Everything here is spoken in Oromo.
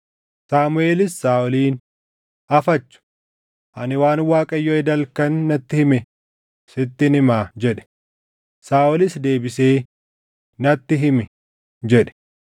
Saamuʼeelis Saaʼoliin, “Afachu! Ani waan Waaqayyo eda halkan natti hime sittin himaa” jedhe. Saaʼolis deebisee, “Natti himi” jedhe.